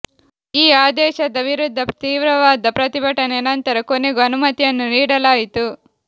ಈ ಆದೇಶದ ವಿರುದ್ಧ ತೀವ್ರವಾದ ಪ್ರತಿಭಟನೆ ನಂತರ ಕೊನೆಗೂ ಅನುಮತಿಯನ್ನು ನೀಡಲಾಯಿತು